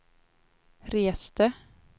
reste